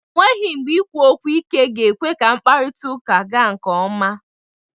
O nweghi mgbe ikwu okwu ike ga-ekwe ka mkparịtaụka gaa nke ọma.